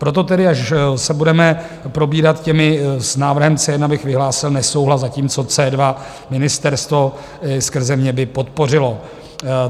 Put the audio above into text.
Proto tedy, až se budeme probírat těmi... s návrhem C1 bych vyhlásil nesouhlas, zatímco C2 ministerstvo skrze mě by podpořilo.